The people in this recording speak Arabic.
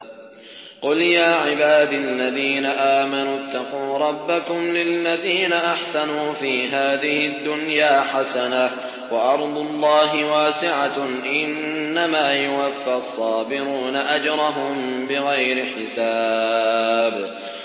قُلْ يَا عِبَادِ الَّذِينَ آمَنُوا اتَّقُوا رَبَّكُمْ ۚ لِلَّذِينَ أَحْسَنُوا فِي هَٰذِهِ الدُّنْيَا حَسَنَةٌ ۗ وَأَرْضُ اللَّهِ وَاسِعَةٌ ۗ إِنَّمَا يُوَفَّى الصَّابِرُونَ أَجْرَهُم بِغَيْرِ حِسَابٍ